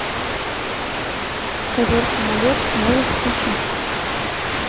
ковер самолет можешь включить